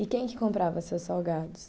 E quem que comprava seus salgados?